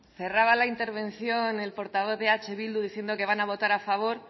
cerraba la intervención el portavoz de eh bildu diciendo que van a votar a favor